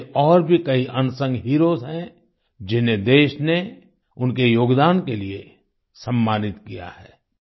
ऐसे और भी कई अनसंग हीरोज हैं जिन्हें देश ने उनके योगदान के लिए सम्मानित किया है